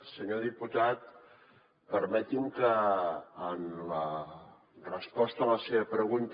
senyor diputat permeti’m que en la resposta a la seva pregunta